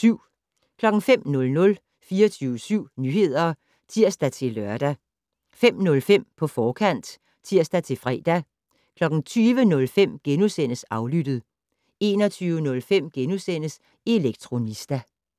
05:00: 24syv Nyheder (tir-lør) 05:05: På forkant (tir-fre) 20:05: Aflyttet * 21:05: Elektronista *